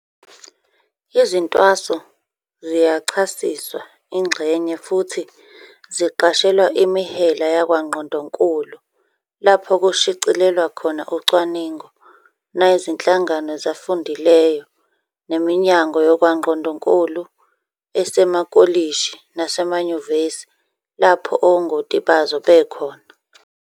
Izintwaso ziyachasiswa, ingxenye, futhi ziqashelwa imihela yakwangqondonkulu lapho kushicilelwa khona ucwaningo, nayizinhlangano zafundileyo neminyango yakwangqondonkulu esemakolishi nasemanyuvesi lapho ongoti bazo bekhona.